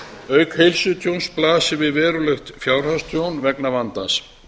auk heilsutjóns blasir við verulegt fjárhagstjón vegna vandans